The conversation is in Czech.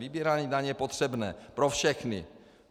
Vybírání daní je potřebné pro všechny.